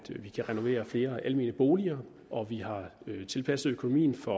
kan renovere flere almene boliger og vi har tilpasset økonomien for